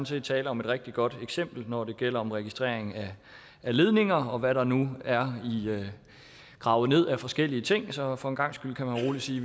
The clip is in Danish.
set tale om et rigtig godt eksempel når det gælder om registrering af ledninger og hvad der nu er gravet ned af forskellige ting så for en gangs skyld kan man roligt sige